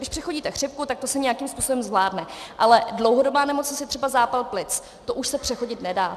Když přechodíte chřipku, tak to se nějakým způsobem zvládne, ale dlouhodobá nemoc je třeba zápal plic, to už se přechodit nedá.